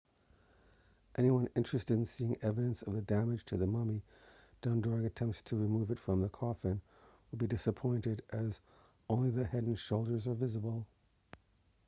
anyone interested in seeing evidence of the damage to the mummy done during attempts to remove it from the coffin will be disappointed as only the head and shoulders are visible